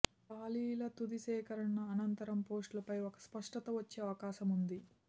ఖాళీల తుది సేకరణ అనంతరం పోస్టులపై ఒక స్పష్టత వచ్చే అవకాశముంది